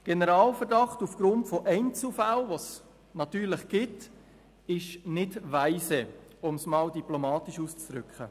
Generalverdacht aufgrund von Einzelfällen, die es natürlich gibt, ist nicht weise, um es diplomatisch auszudrücken.